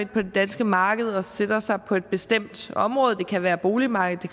på det danske marked og sætter sig på et bestemt område det kan være boligmarkedet